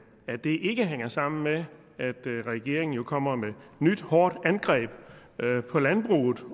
ikke hænger sammen med at regeringen kommer med hårdt angreb på landbruget